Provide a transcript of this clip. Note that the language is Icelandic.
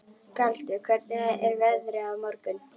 Galti, hvernig er veðrið á morgun?